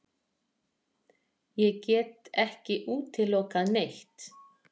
Ég get ekki útilokað neitt.